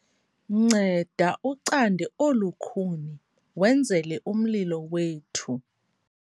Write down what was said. Nceda ucande olu khuni wenzele umlilo wethu.